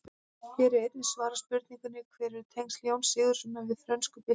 Hér er einnig svarað spurningunni: Hver eru tengsl Jóns Sigurðssonar við frönsku byltinguna?